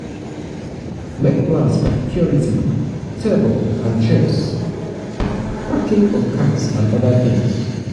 make plans for security table and chairs parking of cars and oda things